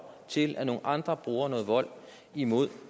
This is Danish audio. til at nogle andre bruger noget vold imod